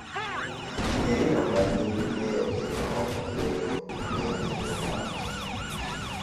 ng'e ni nambi ming'eyo kendo ok onego ong'e gi ng'ato ang'ata